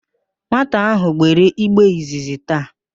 Nwata ahụ gbere igbe izizi taa